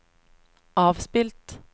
avspilt